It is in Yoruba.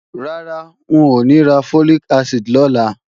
Rárá, ń ò ní ra Folic acid lọ́la